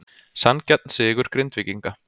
Sanngjarn sigur Grindvíkinga